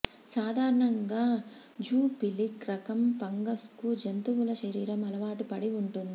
సాధారణంగా జూఫిలిక్ రకం ఫంగస్కు జంతువుల శరీరం అలవాటు పడి ఉంటుంది